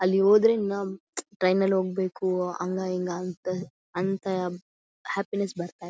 ಅಲ್ಲಿ ಹೋದ್ರೆ ನಮ್ಮ್ ಟ್ರೈನ್ ನಲ್ಲಿ ಹೋಗಬೇಕು ಅಂಗ ಇಂಗ ಅಂತ ಅಂತ ಹಪ್ಪಿನೆಸ್ಸ್ ಬರತ್ತಾ.